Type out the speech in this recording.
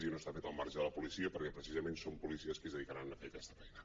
i no està fet al marge de la policia perquè precisament són policies que es dedicaran a fer aquesta feina